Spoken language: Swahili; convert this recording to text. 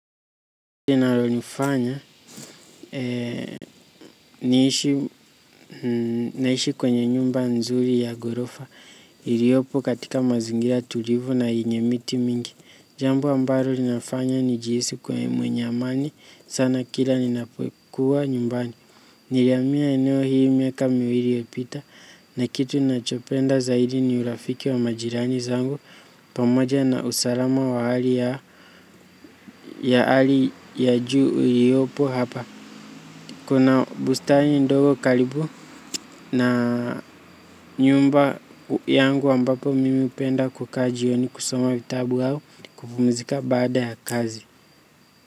Linalonifanya naishi kwenye nyumba nzuri ya ghorofa iliopo katika mazingira tulivu na yenye miti mingi. Jambo ambalo linafanya nijihisi kuwa mwenye amani, sana kila ninapokuwa nyumbani. Nilihamia eneo hii miaka miwili iliyopita, na kitu nachopenda zaidi ni urafiki wa majirani zangu pamoja na usalama wa hali ya hali ya juu iliopo hapa. Kuna bustani ndogo karibu na nyumba yangu ambapo mimi hupenda kukaa jioni kusoma vitabu au kupumuzika baada ya kazi.